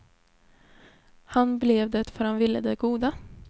Han blev det för att han ville det goda.